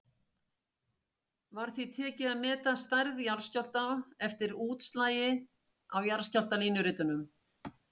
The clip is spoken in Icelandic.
Var því tekið að meta stærð jarðskjálfta eftir útslagi á jarðskjálftalínuritum.